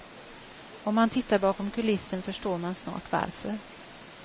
Om man tittar bakom kulissen förstår man snart varför.